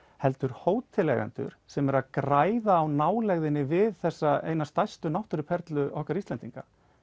heldur hóteleigendur sem eru að græða á nálægðinni við þessa einu stærstu náttúruperlu okkar Íslendinga